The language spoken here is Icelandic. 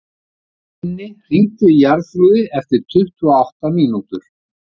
Binni, hringdu í Jarþrúði eftir tuttugu og átta mínútur.